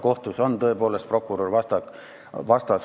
Tõenäoliselt on tal kohtus prokurör vastas.